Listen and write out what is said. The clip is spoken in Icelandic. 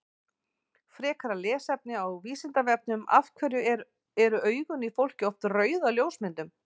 Frekara lesefni á Vísindavefnum Af hverju eru augun í fólki oft rauð á ljósmyndum?